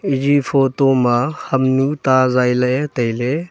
eji photo ma homnu ta zai ley ley.